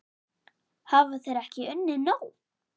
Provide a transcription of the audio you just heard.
Hafa þeir ekki unnið nóg?